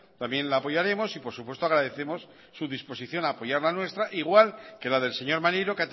también la apoyaremos y por supuesto agradecemos su disposición a apoyar la nuestra igual que la del señor maneiro